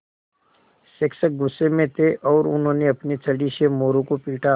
शिक्षक गुस्से में थे और उन्होंने अपनी छड़ी से मोरू को पीटा